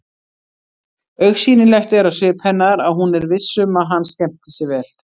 Augsýnilegt er á svip hennar að hún er viss um að hann skemmti sér vel.